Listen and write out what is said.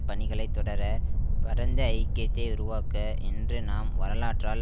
பணிகளைத் தொடர பரந்த ஐக்கியத்தை உருவாக்க இன்று நாம் வரலாற்றால்